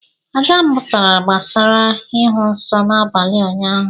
Ada mụtara gbasara ịhụ nsọ n’abalị ụnyahụ